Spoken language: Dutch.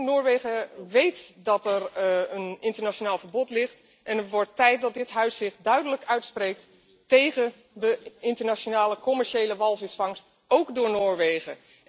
Noorwegen weet dat er een internationaal verbod ligt en het wordt tijd dat dit Parlement zich duidelijk uitspreekt tegen de internationale commerciële walvisvangst, ook door Noorwegen.